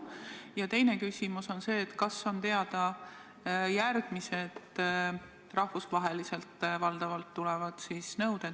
Ja teine küsimus on see: kas on teada järgmised valdavalt rahvusvahelised nõuded, mis rahapesuga tegelevad?